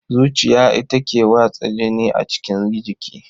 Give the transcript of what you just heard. Zuciya ita ke watsa jini a cikin jiki.